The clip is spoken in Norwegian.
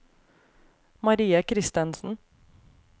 Marie Kristensen